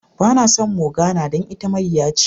Ba na son Morgana dan ita mayya ce.